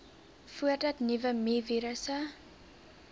voordat nuwe mivirusse